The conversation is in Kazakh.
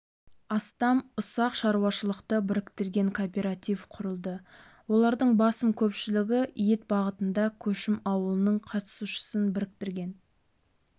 астам ұсақ шаруашылықты біріктірген кооператив құрылды олардың басым көпшілігі ет бағытында көшім ауылының қатысушысын біріктірген